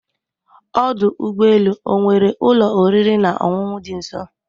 Ọdụ ụgbọ elu ọ nwere ụlọ oriri na ọṅụṅụ dị nso?